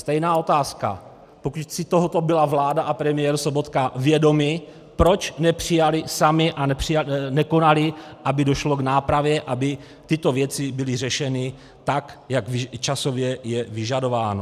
Stejná otázka: Pokud si tohoto byla vláda a premiér Sobotka vědomi, proč nepřijali sami a nekonali, aby došlo k nápravě, aby tyto věci byly řešeny tak, jak časově je vyžadováno?